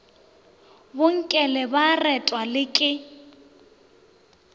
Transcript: bonkele ba retwa le ke